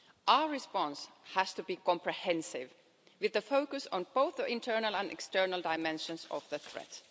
Our response has to be comprehensive, with the focus on both the internal and external dimensions of the threat.